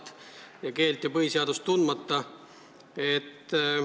Keelt pole vaja osata ega põhiseadust tunda.